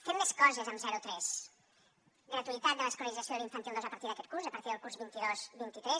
fem més coses amb zero tres gratuïtat de l’escolarització de l’infantil dos a partir d’aquest curs a partir del curs vint dos vint tres